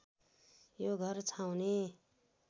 यो घर छाउने